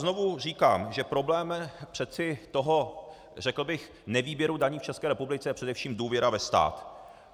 Znovu říkám, že problém přece toho řekl bych nevýběru daní v České republice je především důvěra ve stát.